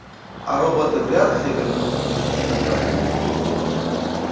а роботы вряд ли вернутся без приказания